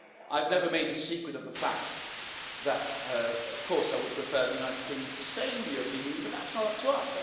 I've never made a secret of the fact that, of course, I would prefer the United Kingdom to stay in the European Union, but that's not up to us.